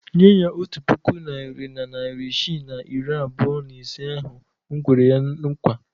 Nye ya otu puku naịra na narị isii na iri abụọ na ise ahụ m kwere ya nkwa.